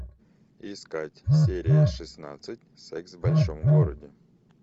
искать серия шестнадцать секс в большом городе